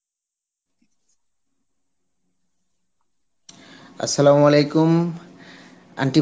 Arbi aunty